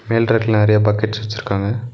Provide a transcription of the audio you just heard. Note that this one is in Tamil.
மேல் ரேக்ல நெறையா பக்கெட்ஸ் வச்சிருக்காங்க.